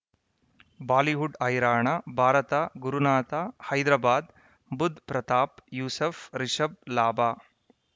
Bollywood ಹೈರಾಣ ಭಾರತ ಗುರುನಾಥ ಹೈದರಾಬಾದ್ ಬುಧ್ ಪ್ರತಾಪ್ ಯೂಸುಫ್ ರಿಷಬ್ ಲಾಭ